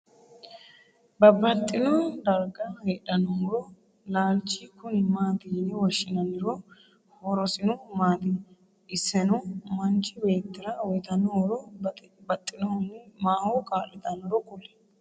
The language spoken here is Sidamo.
babaxino darga hedhano muro laalich kuni mati yine woshinanihooro horosino maati? isseno manchu beetira uyitano horo baxxinohunni maho kalitanoro kuli?